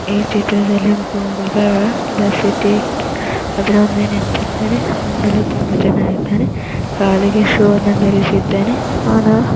ಈ ಚಿತ್ರದಲ್ಲಿ ಒಬ್ಬ ಹುಡುಗ ದ ಸಿಟಿ ಅದರ ಮೇಲೆ ನಿಂತಿದ್ದಾನೆ ನೋಡಲು ತುಂಬ ಜನ ಇದ್ದಾರೆ ಕಾಲಿಗೆ ಶೂ ವನ್ನು ಧರಿಸಿದ್ದಾನೆ. ಅವನು --